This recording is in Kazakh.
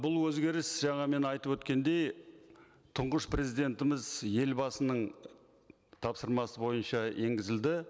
бұл өзгеріс жаңа мен айтып өткендей тұңғыш президентіміз елбасының тапсырмасы бойынша енгізілді